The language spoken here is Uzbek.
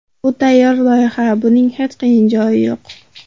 Bu tayyor loyiha, buning hech qiyin joyi yo‘q.